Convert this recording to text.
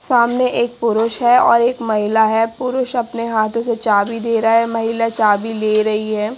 सामने एक पुरुष है और एक महिला है पुरुष अपने हाथों से चाबी दे रहा है महिला चाबी ले रही है।